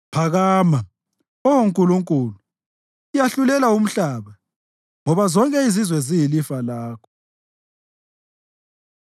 Phakama, Oh Nkulunkulu, yahlulela umhlaba, ngoba zonke izizwe ziyilifa lakho.